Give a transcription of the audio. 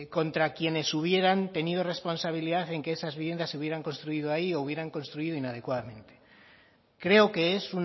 contra quienes hubieran tenido responsabilidad en que esas viviendas se hubieran construido ahí o hubieran construido inadecuadamente creo que es